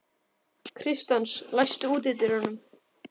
Kristens, læstu útidyrunum.